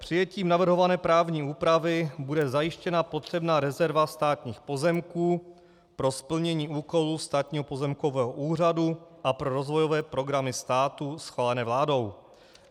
Přijetím navrhované právní úpravy bude zajištěna potřebná rezerva státních pozemků pro splnění úkolu Státního pozemkového úřadu a pro rozvojové programy státu schválené vládou.